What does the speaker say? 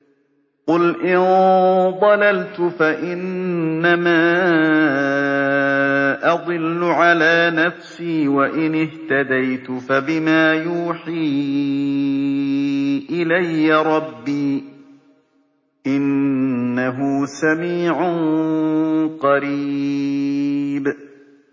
قُلْ إِن ضَلَلْتُ فَإِنَّمَا أَضِلُّ عَلَىٰ نَفْسِي ۖ وَإِنِ اهْتَدَيْتُ فَبِمَا يُوحِي إِلَيَّ رَبِّي ۚ إِنَّهُ سَمِيعٌ قَرِيبٌ